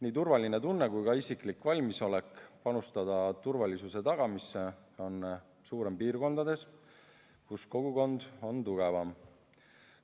Nii turvatunne kui ka isiklik valmisolek panustada turvalisuse tagamisse on suurem piirkondades, kus kogukond on tugevam.